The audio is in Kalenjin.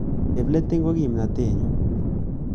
Chepleting ko kimnatet nyu